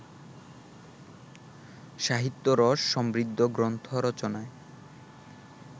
সাহিত্যরস সমৃদ্ধ গ্রন্থ রচনায়